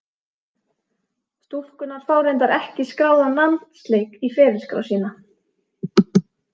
Stúlkurnar fá reyndar ekki skráðan landsleik í ferilskrá sína.